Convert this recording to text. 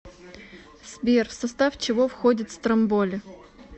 сбер в состав чего входит стромболи